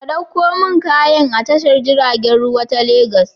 Ka ɗauko min kayan a tashar jiragen ruwa ta Legas.